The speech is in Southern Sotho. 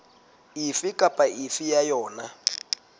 efe kapa efe ya yona